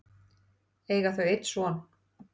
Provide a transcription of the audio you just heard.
eiga þau einn son.